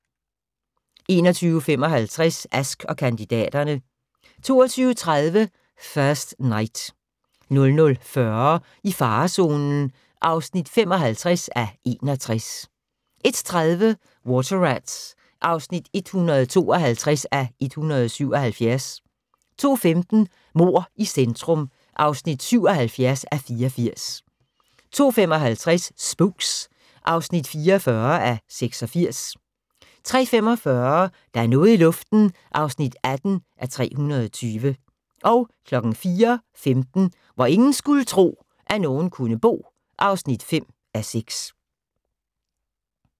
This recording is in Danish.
21:55: Ask & kandidaterne 22:30: First Knight 00:40: I farezonen (55:61) 01:30: Water Rats (152:177) 02:15: Mord i centrum (77:84) 02:55: Spooks (44:86) 03:45: Der er noget i luften (18:320) 04:15: Hvor ingen skulle tro, at nogen kunne bo (5:6)